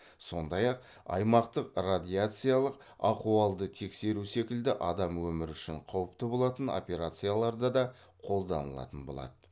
сондай ақ аймақтық радиациялық ахуалды тексеру секілді адам өмірі үшін қауіпті болатын операцияларда да қолданылатын болады